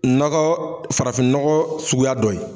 Nɔgɔ farafinnɔgɔ suguya dɔ ye.